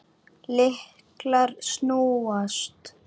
Lyklar snúast.